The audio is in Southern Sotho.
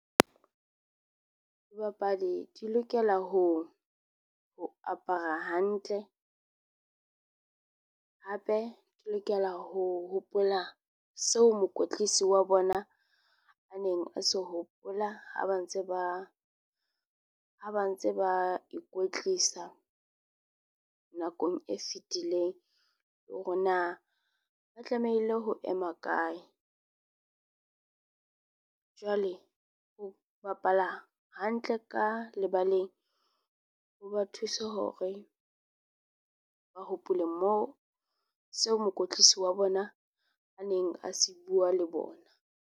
Dibapadi di lokela ho ho apara hantle. Hape di lokela ho hopola seo mokwetlisi wa bona a neng a se hopola ha ba ntse ba ha ba ntse ba ikwetlisa, nakong e fetileng. Hore na ba tlamehile ho ema kae. Jwale ho bapala hantle ka lebaleng, ho ba thusa hore ba hopola moo seo mokwetlisi wa bona a neng a se bua le bona.